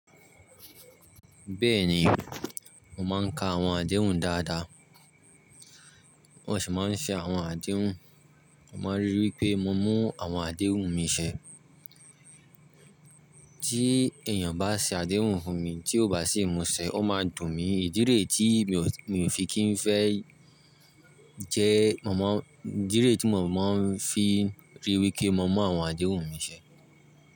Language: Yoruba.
Bẹ́ẹ̀ni, mo máa ń ka àwọn àdéhùn dáadáa. Mo sì máa ń ṣe àwọn àdéhùn. Mo máa ń ríi wí pé mo mú àwọn àdéhùn mi ṣẹ. Tí èèyàn bá ṣe àdéhùn fún mi, tí ó bá sì mu ṣẹ, ó máa dùn mí. Ìdíre tí mi ò fi kí n fẹ́ jẹ́, màmá n díri tí màmá n fi ríi wí pé mo mú àwọn àdéhùn mi ṣẹ.